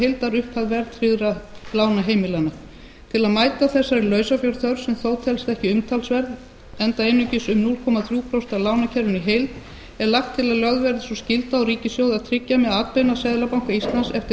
heildarupphæð verðtryggðra lána heimilanna til að mæta þessari lausafjárþörf sem þó telst ekki umtalsverð enda einungis um núll komma þrjú prósent af lánakerfinu í heild er lagt til að lögð verði sú skylda á ríkissjóð að tryggja með atbeina seðlabanka íslands eftir